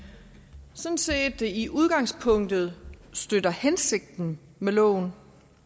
sådan set i udgangspunktet støtter hensigten med loven